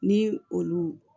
Ni olu